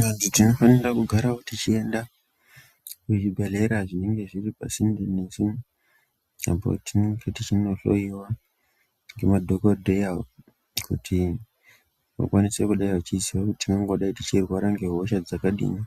Vantu tinofanira kugarawo tichienda kuzvibhedhlera zvinenge zviri pasinde nesu, apo tinenge tichinohloyiwa ngema dhokodheya kuti vakwanise kudai vachiziye kuti tingangodai tichirwara nehosha dzakadii